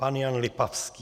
Pan Jan Lipavský.